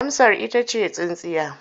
Amsar ita ce tsintsiya.